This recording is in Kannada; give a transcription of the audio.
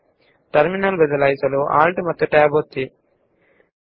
ಈಗ ನಾನು ಟರ್ಮಿನಲ್ ಗೆ ಹೋಗಲು ALT ಮತ್ತು Tab ಒತ್ತುತ್ತೇನೆ